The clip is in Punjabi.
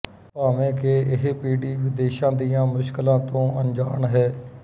ਭਾਵੇਂ ਕਿ ਇਹ ਪੀੜ੍ਹੀ ਵਿਦੇਸ਼ਾਂ ਦੀਆਂ ਮੁਸ਼ਕਿਲਾਂ ਤੋਂ ਅਣਜਾਣ ਹੈ